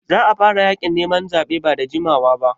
Za a fara yaƙin neman zaɓe ba da jimawa ba.